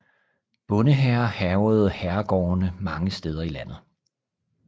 Bondehære hærgede herregårdene mange steder i landet